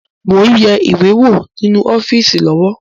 Mo ń yẹ ìwé wo ninu ọ́fíìsì lọ́wọ́